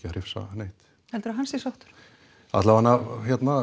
að hrifsa neitt heldurðu að hann sé sáttur alla vega